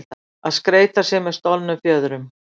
Að skreyta sig með stolnum fjöðrum